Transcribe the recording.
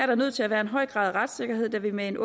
der nødt til at være en høj grad af retssikkerhed da vi med en